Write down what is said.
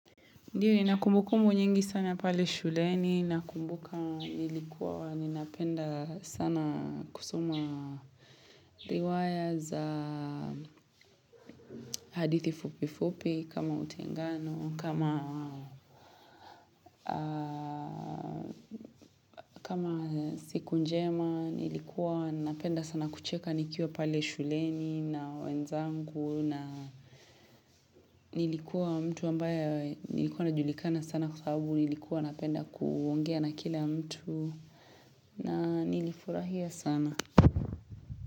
Ndio nina kumbukumbu nyingi sana pale shuleni na kumbuka nilikuwa wani napenda sana kusoma riwaya za hadithi fupifupi kama utengano kama siku njema nilikuwa napenda sana kucheka nikiwa pale shuleni na wenzangu na nilikuwa mtu ambaye nilikuwa na julikana sana kwa sababu nilikuwa napenda kuongea na kila mtu na nili furahia sana.